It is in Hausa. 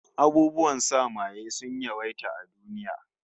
Abubuwan sa maye sun yawaita a duniya